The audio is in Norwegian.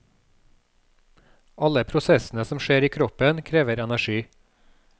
Alle prosessene som skjer i kroppen, krever energi.